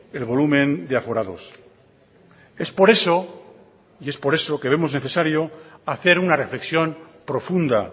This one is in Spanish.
el volumen de aforados es por eso que vemos necesario hacer una reflexión profunda